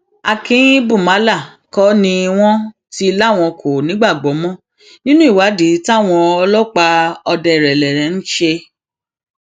bẹẹ ló ṣèkìlọ pé káwọn ọdaràn tètè wábi gbà kúrò nípìnlẹ ogun